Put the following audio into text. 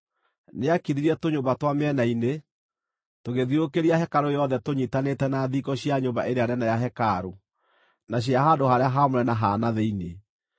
Nĩaakithirie tũnyũmba twa mĩena-inĩ, tũgĩthiũrũrũkĩria hekarũ yothe tũnyiitanĩte na thingo cia nyũmba ĩrĩa nene ya hekarũ na cia handũ-harĩa-haamũre ha na thĩinĩ.